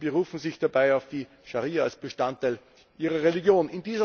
Sie berufen sich dabei auf die Scharia als Bestandteil ihrer Religion.